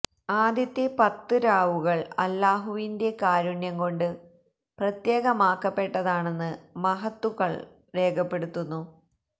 ആദ്യത്തെ പത്ത് രാവുകള് അല്ലാഹുവിന്റെ കാരുണ്യം കൊണ്ട് പ്രത്യേകമാക്കപ്പെട്ടതാണെന്ന് മഹത്തുക്കള് രേഖപ്പെടുത്തുന്നു